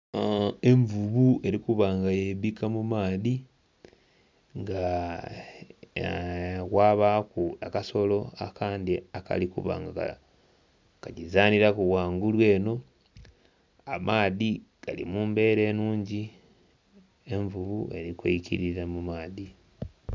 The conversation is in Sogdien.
Envubu eli kuba nga yeibbika mu maadhi, nga...kwabaaku akasolo akandhi akali kuba nga kagizanhiraku ghangulu eno. Amaadhi gali mu mbeera enhungi, envubu eli kwikilira mu maadhi.